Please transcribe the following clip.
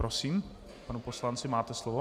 Prosím, pane poslanče, máte slovo.